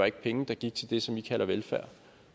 ikke penge der gik til det som i kalder velfærd og